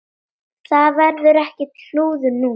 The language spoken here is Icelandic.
Það verður ekkert klúður núna.